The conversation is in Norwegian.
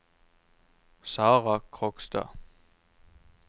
Sarah Krogstad